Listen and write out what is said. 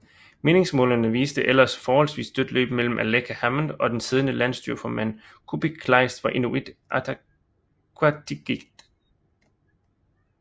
Meningsmålingerne viste ellers forholdsvis dødt løb mellem Aleqa Hammond og den siddende landsstyreformand Kuupik Kleist fra Inuit Ataqatigiit